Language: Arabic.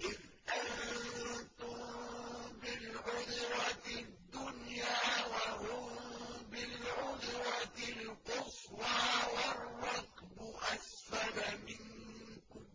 إِذْ أَنتُم بِالْعُدْوَةِ الدُّنْيَا وَهُم بِالْعُدْوَةِ الْقُصْوَىٰ وَالرَّكْبُ أَسْفَلَ مِنكُمْ ۚ